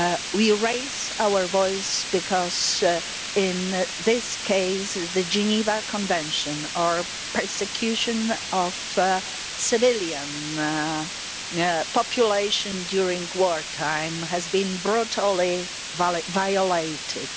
We raise our voices, because in this case the Geneva Convention on the persecution of civilian populations during war time has been brutally violated.